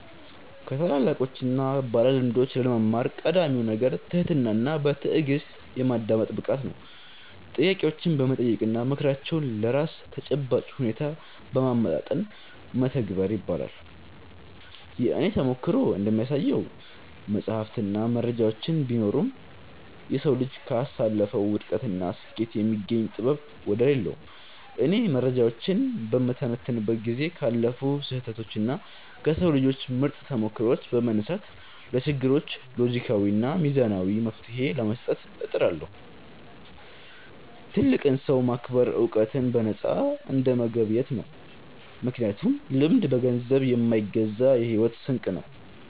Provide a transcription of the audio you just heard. ከታላላቆችና ባለልምዶች ለመማር ቀዳሚው ነገር ትህትናና በትዕግሥት የማዳመጥ ብቃት ነው። ጥያቄዎችን በመጠየቅና ምክራቸውን ለራስ ተጨባጭ ሁኔታ በማመጣጠን መተግበር ይገባል። የእኔ ተሞክሮ እንደሚያሳየው፣ መጻሕፍትና መረጃዎች ቢኖሩም፣ የሰው ልጅ ካሳለፈው ውድቀትና ስኬት የሚገኝ ጥበብ ወደር የለውም። እኔም መረጃዎችን በምተነትንበት ጊዜ ካለፉ ስህተቶችና ከሰው ልጆች ምርጥ ተሞክሮዎች በመነሳት፣ ለችግሮች ሎጂካዊና ሚዛናዊ መፍትሔ ለመስጠት እጥራለሁ። ትልቅን ሰው ማክበር ዕውቀትን በነፃ እንደመገብየት ነው፤ ምክንያቱም ልምድ በገንዘብ የማይገዛ የሕይወት ስንቅ ነው።